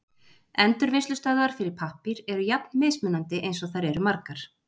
Endurvinnslustöðvar fyrir pappír eru jafn mismunandi eins og þær eru margar.